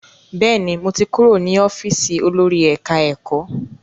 Bẹ́ẹ̀ni, mo ti kúrò ní ọ́fíìsì olórí ẹ̀ká-ẹ̀kọ́